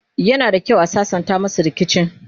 yana da kyau a sassanta masu rikici